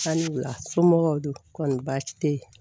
A ni wula somɔgɔw do kɔni baasi tɛ yen